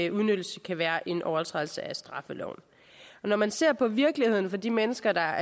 udnyttelse kan være en overtrædelse af straffeloven når man ser på virkeligheden for de mennesker der er